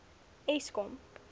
eskom